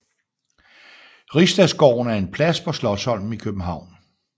Rigsdagsgården er en plads på Slotsholmen i København